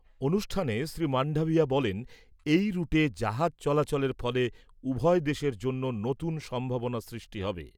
অনুষ্ঠানে শ্রী মান্ডাভিয়া বলেন , এই রুটে জাহাজ চলাচলের ফলে উভয় দেশের জন্য নতুন সম্ভাবনা সৃষ্টি হবে ।